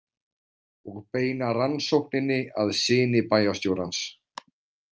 Og beina rannsókninni að syni bæjarstjórans.